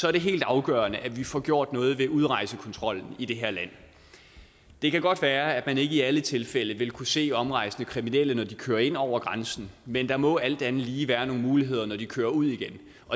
er det helt afgørende at vi får gjort noget ved udrejsekontrollen i det her land det kan godt være at man ikke i alle tilfælde ville kunne se omrejsende kriminelle når de kører ind over grænsen men der må alt andet lige være nogle muligheder når de kører ud igen